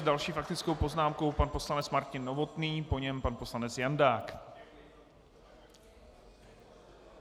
S další faktickou poznámkou pan poslanec Martin Novotný, po něm pan poslanec Jandák.